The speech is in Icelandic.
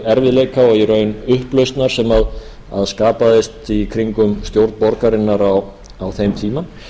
erfiðleika og í raun upplausnar sem skapaðist í kringum stjórn borgarinnar á þeim tíma og